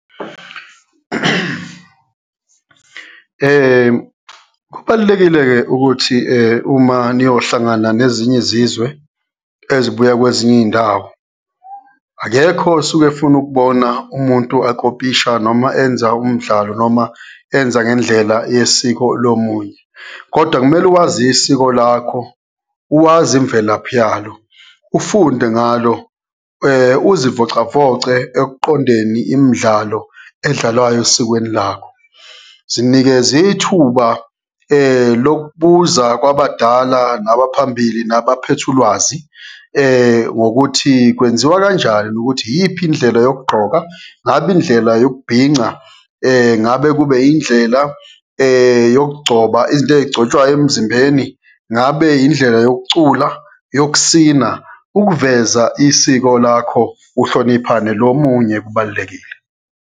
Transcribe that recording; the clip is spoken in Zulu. Kubalulekile-ke ukuthi uma niyohlangana nezinye izizwe ezibuya kwezinye iyindawo, akekho osuke efuna ukubona umuntu akopisha, noma enza umdlalo, noma enza ngendlela yesiko lomunye. Kodwa kumele wazi isiko lakho, uwazi imvelaphi yalo, ufunde ngalo, uzivocavoce ekuqondeni imidlalo edlalwayo esikweni lakho. Zinikeze ithuba lokubuza kwabadala nabaphambili nabaphethe ulwazi, ngokuthi kwenziwa kanjani, ukuthi iyiphi indlela yokugqoka, ngabe indlela yokubhinca, ngabe kube yindlela yokugcoba, izinto eyigcotshwayo emzimbeni, ngabe indlela yokucula, yokusina. Ukuveza isiko lakho, uhlonipha nelomunye kubalulekile.